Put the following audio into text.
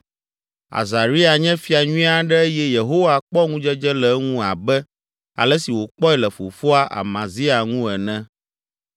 Azaria nye fia nyui aɖe eye Yehowa kpɔ ŋudzedze le eŋu abe ale si wòkpɔe le fofoa, Amazia, ŋu ene